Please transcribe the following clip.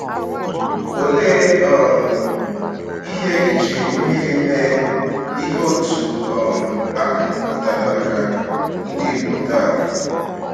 Olee um ihe iji mmiri mee ihe otú um ahụ pụtara maka ndị Igbo taa?